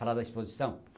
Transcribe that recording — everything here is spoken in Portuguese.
Falar da exposição?